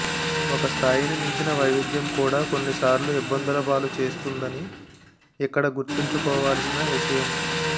ఒక స్థాయిని మించిన వైవిధ్యం కూడా కొన్నిసార్లు ఇబ్బందులపాలు చేస్తుందని ఇక్కడ గుర్తుంచుకోవాల్సిన విషయం